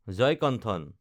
Jayakanthan